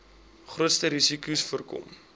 grootste risikos voorkom